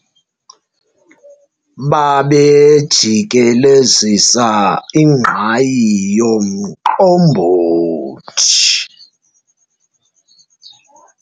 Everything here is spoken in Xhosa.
babejikelezisa ingqayi yomqombothi